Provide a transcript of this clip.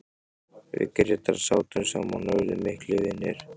Við Grétar sátum saman og urðum miklir vinir.